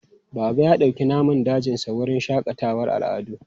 Baba ya dauki namun dajinsa wurin shakatawar al'adu.